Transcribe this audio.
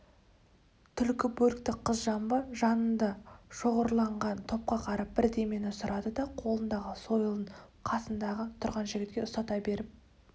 түлкі бөрікті қыз жамбы жанында шоғырланған топқа қарап бірдемені сұрады да қолындағы сойылын қасында тұрған жігітке ұстата беріп